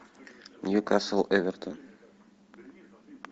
ньюкасл эвертон